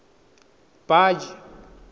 baji